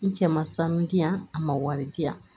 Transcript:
N cɛ ma sanu di yan a ma wari di yan